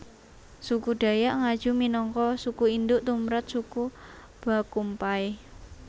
Suku Dayak Ngaju minangka suku induk tumrap suku Bakumpai